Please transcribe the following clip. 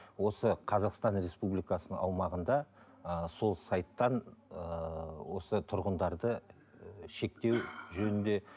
осы қазақстан республикасының аумағында ыыы сол сайттан ыыы осы тұрғындарды шектеу жөнінде